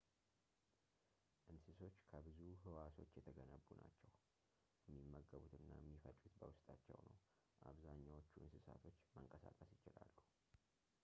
እንስሶች ከብዙ ህዋሶች የተገነቡ ናቸው የሚመገቡት እና የሚፈጩት በውስጣቸው ነው አብዛኛዎቹ እንስሳቶች መንቀሳቀስ ይችላሉ